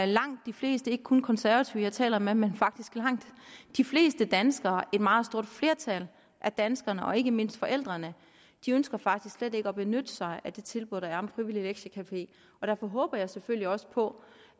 langt de fleste ikke kun konservative jeg taler med men faktisk langt de fleste danskere et meget stort flertal af danskerne og ikke mindst forældrene ønsker faktisk slet ikke at benytte sig af det tilbud der er om frivillig lektiecafé og derfor håber jeg selvfølgelig også på